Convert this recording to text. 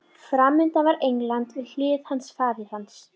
Framundan var England, við hlið hans faðir hans